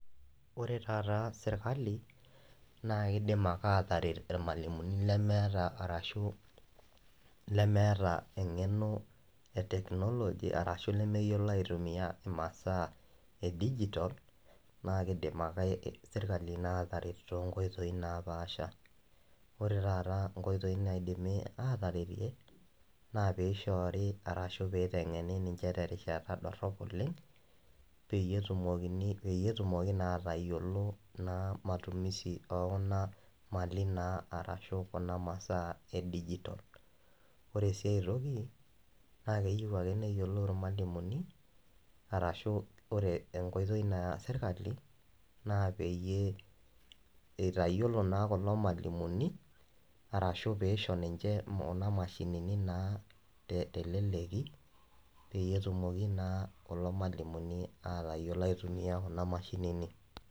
Ore taata sirkali naa kiidim ake aataret irmalimuni lemeeta arashu lemeeta eng'eno e technology arashu lemeyiolo aitumia imasaa e digital naa kiidim naa sirkali aataret toonkoitoi napaasha. Ore taata inkoitoi naidimi aataretie naa piishoori arashu piiteng'eni ninche terishata dorrop oleng peyie etumokini, peyie etumoki naa atayiolo naa matumizi oo kuna mali naa arashu kuna masaa e digital. Ore sii ae toki, naa keyieu ake neyiolou irmalimuni arashu ore enkoitoi naya sirkali naa pee itayiolo naa kulo malimuni arashu piisho ninche kuna mashinini naa teleleki peyie etumoki naa kulo malimuni aatayiolo aitumia kuna mashinini